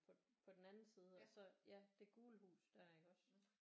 På den anden side og så ja det gule hus der iggås